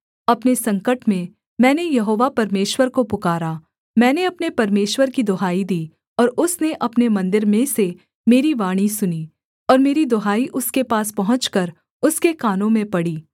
अपने संकट में मैंने यहोवा परमेश्वर को पुकारा मैंने अपने परमेश्वर की दुहाई दी और उसने अपने मन्दिर में से मेरी वाणी सुनी और मेरी दुहाई उसके पास पहुँचकर उसके कानों में पड़ी